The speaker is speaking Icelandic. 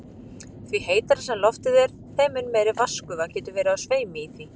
Því heitara sem loftið er, þeim mun meiri vatnsgufa getur verið á sveimi í því.